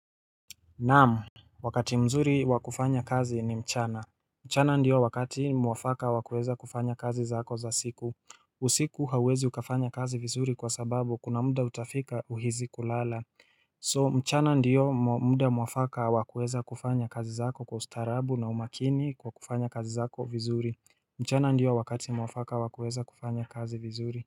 Naam, Wakati mzuri wa kufanya kazi ni mchana. Mchana ndio wakati mwafaka wakuweza kufanya kazi zako za siku usiku hauwezi ukafanya kazi vizuri kwa sababu kuna muda utafika uhisi kulala So mchana ndio mwafaka wa kuweza kufanya kazi zako kwa ustarabu na umakini kwa kufanya kazi zako vizuri mchana ndio wakati mwafaka wakuweza kufanya kazi vizuri.